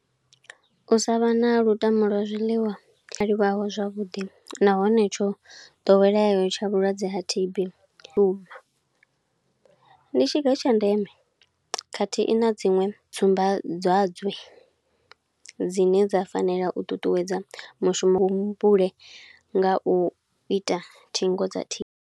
U sa vha na lutamo lwa zwiḽiwa, tsha livhaho zwavhuḓi, nahone tsho ḓoweleaho tsha vhulwadze ha T_B lune ndi tshiga tsha ndeme. Khathihi na dziṅwe tsumbadzwadze dzine dza fanela u ṱuṱuwedza mushumo wo mumbule nga u ita thingo dza.